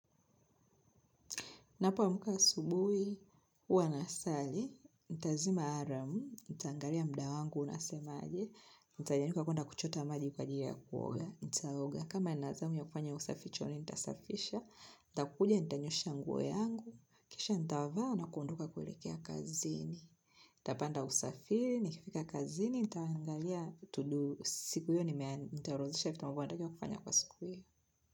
Ninapoamka asubuhi, huwa ninasali, nitazima alamu, nitaangalia mda wangu unasemaje, nitanyanyuka kwenda kuchota maji kwa ajili ya kuoga, nitaoga, kama ninazamu ya kufanya usafi chooni, nitasafisha, nitakuja, nitanyoosha nguo yangu, kisha nitava na kuondoka kuelekea kazini, nitapanda usafiri, nikifika kazini, nitangalia, tudu, siku hiyo nitarodhesha vitu ambayo natakiwa kufanya kwa siku hiyo.